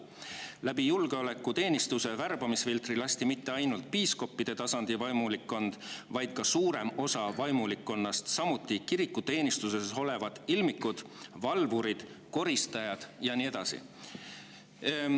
Läbi julgeolekuteenistuse värbamisfiltri lasti mitte ainult piiskoppide tasandi vaimulikkond, vaid ka suurem osa reavaimulikkonnast, samuti kirikuteenistuses olevad ilmikud – valvurid, koristajad jne.